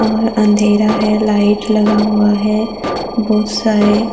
और अंधेरा है लाइट लगा हुआ है बहुत सारे।